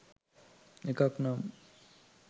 එකක් නම්